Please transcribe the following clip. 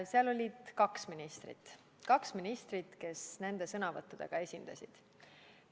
Seal oli kaks ministrit, kes nende sõnavõttudega esinesid.